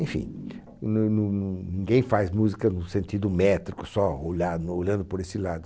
Enfim, não não não ninguém faz música no sentido métrico, só olhar no olhando por esse lado.